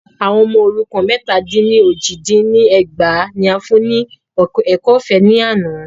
Àwọn ọmọ òrukàn mẹ́tà dín ní ójì dín ní ẹgbàá ní a fún ní ẹ̀kọ́ ọ̀fẹ́ ní àná.